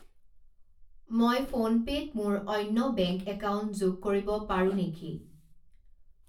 মই ফোনপে' ত মোৰ অন্য বেংক একাউণ্ট যোগ কৰিব পাৰোঁ নেকি?